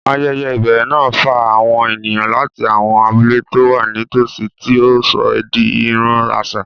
Ayẹyẹ ìbẹ̀rẹ̀ náà fa àwọn ènìyàn láti àwọn abúlé tó wà nítòsí, tí ó sọ ọ́ di ìran àṣà.